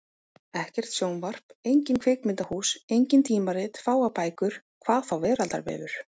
Ekkert sjónvarp, engin kvikmyndahús, engin tímarit, fáar bækur. hvað þá veraldarvefur!